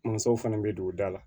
Mansaw fana bɛ don da la